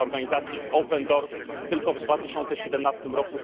Według organizacji Open Doors tylko w 2017 r.